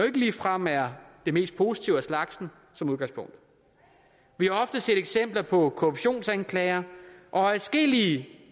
ikke ligefrem er det mest positive af slagsen vi har ofte set eksempler på korruptionsanklager og adskillige